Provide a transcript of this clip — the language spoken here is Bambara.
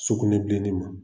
Sugunɛbilen ne ma